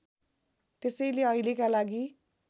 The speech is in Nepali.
त्यसैले अहिलेका लागि